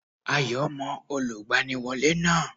Ayọ̀ mọ Olùgbaniwọ́lé náà